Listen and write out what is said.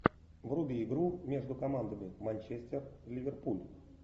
вруби игру между командами манчестер и ливерпуль